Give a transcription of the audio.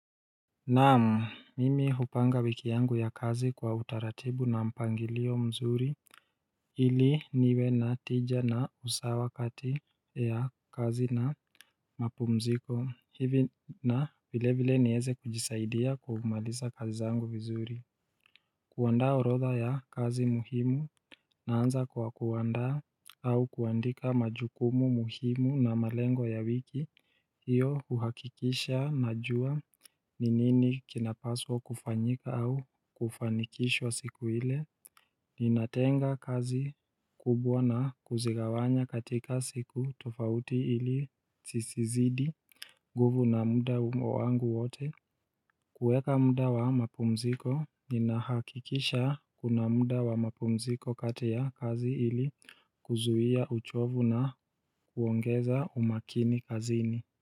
Naam mimi hupanga wiki yangu ya kazi kwa utaratibu na mpangilio mzuri ili niwe na tija na usawa kati ya kazi na mapumziko hivi na vile vile nieze kujisaidia kumaliza kazi zangu vizuri kuandaa orodha ya kazi muhimu naanza kwa kuandaa au kuandika majukumu muhimu na malengo ya wiki hiyo huhakikisha najua ni nini kinapaswa kufanyika au kufanikishwa siku ile Ninatenga kazi kubwa na kuzigawanya katika siku tofauti ili sisizidi nguvu na muda humo wangu wote kuweka muda wa mapumziko, ninahakikisha kuna muda wa mapumziko kati ya kazi ili kuzuia uchovu na kuongeza umakini kazini.